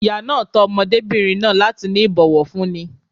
Ìyá náà tọ́ ọmọdébìnrin náà láti ní ìbòwọ̀fúní.